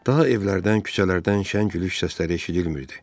Daha evlərdən, küçələrdən şən gülüş səsləri eşidilmirdi.